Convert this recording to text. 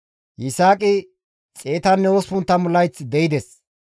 Yisaaqi 180 layth de7ides;